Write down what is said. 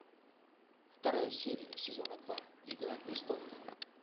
вторая серия сезона два игра престолов